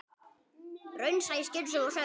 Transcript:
Raunsæ, skynsöm og sönn.